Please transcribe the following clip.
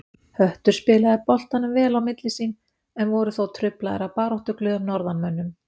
Höttur spilaði boltanum vel á milli sín, en voru þó truflaðir af baráttuglöðum norðanmönnum.